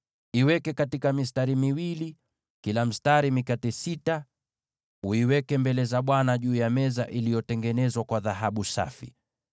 Iweke katika mistari miwili, kila mstari mikate sita, uiweke mbele za Bwana juu ya meza iliyotengenezwa kwa dhahabu safi.